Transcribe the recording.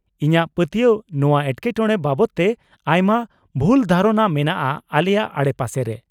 -ᱤᱧᱟᱹᱜ ᱯᱟᱹᱛᱭᱟᱹᱣ ᱱᱚᱶᱟ ᱮᱴᱠᱮᱴᱚᱬᱮ ᱵᱟᱵᱚᱫ ᱛᱮ ᱟᱭᱢᱟ ᱵᱷᱩᱞ ᱫᱷᱟᱨᱚᱱᱟ ᱢᱮᱱᱟᱜᱼᱟ ᱟᱞᱮᱭᱟᱜ ᱟᱲᱮᱯᱟᱥᱮ ᱨᱮ ᱾